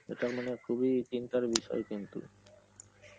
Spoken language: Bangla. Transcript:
এটা মানে খুবই চিন্তার বিষয় কিন্তু